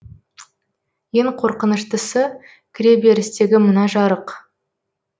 ең қорқыныштысы кіреберістегі мына жарық